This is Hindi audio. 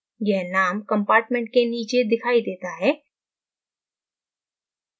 यह name compartment के नीचे दिखाई देता है